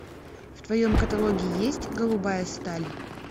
в твоем каталоге есть голубая сталь